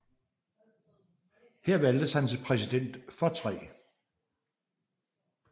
Her valgtes han til Præsident for 3